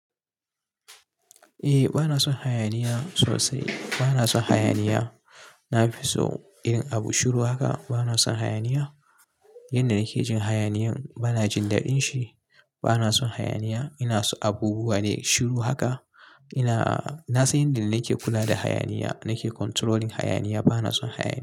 Eh bana son hayaniya sosai. Bana son hayaniya. Na fi so irin abu shiru haka. Bana son hayaniya. Yanda nake jin hayaniyan bana jin daɗin shi. Bana son hayaniya. Ina so abubuwa ne shiru haka. Ina-- na san yanda nake kula da hayaniya, nake controlling hayaniya. Bana son hayaniya.